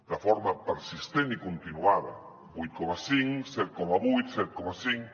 de forma persistent i continuada vuit coma cinc set coma vuit set coma cinc